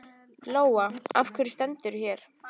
Lóa: Af hverju stendurðu hér?